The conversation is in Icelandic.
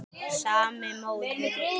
Sami sóðinn.